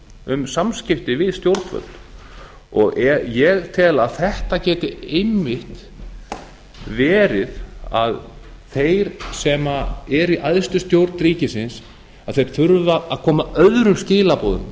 um samskipti við stjórnvöld ég tel að þetta geti einmitt verið að þeir sem eru í æðstu stjórn ríkisins þurfi að koma öðrum skilaboðum